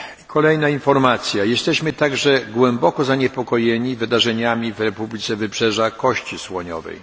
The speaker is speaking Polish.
Kolejna informacja jesteśmy także głęboko zaniepokojeni wydarzeniami w Republice Wybrzeża Kości Słoniowej.